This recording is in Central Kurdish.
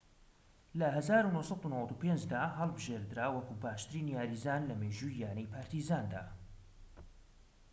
لە ١٩٩٥ دا هەڵبژێدرا وەکو باشترین یاریزان لە مێژووی یانەی پارتیزاندا